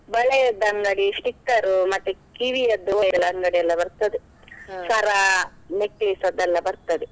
ಬಳೆಯದ್ದು ಅಂಗಡಿ sticker ಉ, ಮತ್ತೆ ಕಿವಿಯದ್ದು ಎಲ್ಲ ಅಂಗಡಿಯೆಲ್ಲಾ ಬರ್ತದೆ, necklace ಅದೆಲ್ಲಾ ಬರ್ತದೆ.